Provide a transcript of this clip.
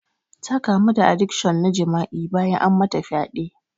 Ta kamu da adikshon na jima'i bayan an mata fyaɗe.